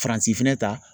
Faransi fɛnɛ ta